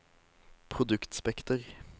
produktspekter